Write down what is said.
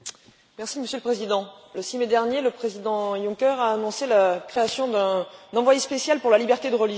Monsieur le Président, le 6 mai dernier, le président Juncker a annoncé la création d'un envoyé spécial pour la liberté de religion.